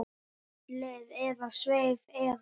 Kvöldið leið eða sveif eða.